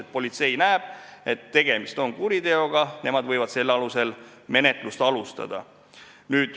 Kui politsei näeb, et tegemist on kuriteoga, võivad nad selle alusel menetlust alustada.